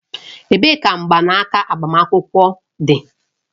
Ebee ka mgbanaka agbamakwụkwọ dị?